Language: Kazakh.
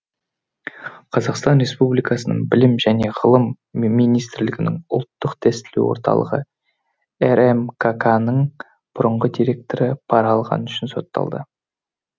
қр білім және ғылым министрлігінің ұлттық тестілеу орталығы рмкк ның бұрынғы директоры пара алғаны үшін сотталды